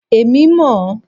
Èmi mọ̀ ọ́.